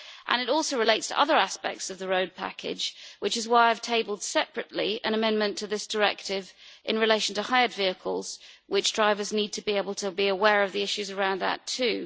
It also relates to other aspects of the road package, which is why I have tabled separately an amendment to this directive in relation to hired vehicles as drivers need to be aware of the issues around that too.